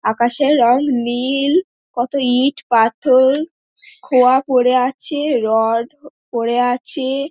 আকাশের রং নীল কত ইট পাথর খোয়া পরে আছে রড পরে আছে--